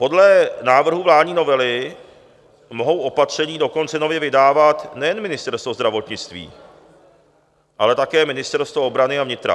Podle návrhu vládní novely mohou opatření dokonce nově vydávat nejen Ministerstvo zdravotnictví, ale také ministerstva obrany a vnitra.